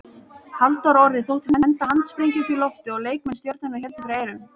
Halldór Orri þóttist henda handsprengju upp í loftið og leikmenn Stjörnunnar héldu fyrir eyrun.